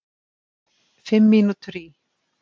Fimm mínútur í